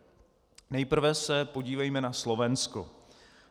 Nejprve se podívejme na Slovensko.